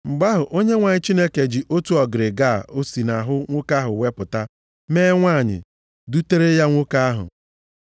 Mgbe ahụ, Onyenwe anyị Chineke ji otu ọgịrịga o si nʼahụ nwoke ahụ wepụta, mee nwanyị, dutere ya nwoke ahụ.